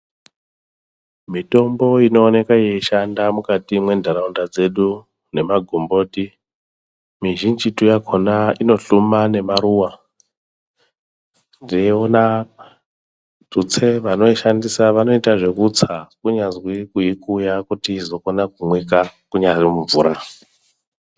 Mitombo inoonekwa yeikwanisa kushanda mukati menharaunda dzedu nemagomboti mizhinji yakona imohluma nemaruwa ndeuina tutse vanoishandisa vanoita zvekutsa kunyazi kuikuya kuti izokona kumwika inyari mumvura.